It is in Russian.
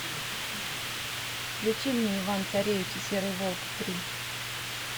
включи мне иван царевич и серый волк три